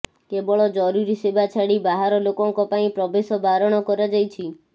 କେବଳ ଜରୁରୀ ସେବା ଛାଡ଼ି ବାହାର ଲୋକଙ୍କ ପାଇଁ ପ୍ରବେଶ ବାରଣ କରାଯାଇଛି